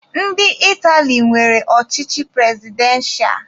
Ndị Itali nwere ọchịchị prezidentịa.